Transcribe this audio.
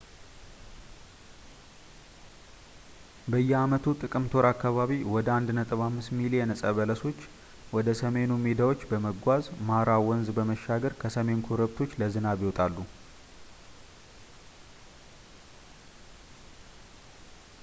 በየአመቱ ጥቅምት ወር አካባቢ ወደ 1.5 ሚሊዮን እፀ በሎች ወደ ሰሜኑ ሜዳዎች በመጓዝ ማራ ወንዝን በመሻገር ከሰሜን ኮረብቶች ለዝናብ ይወጣሉ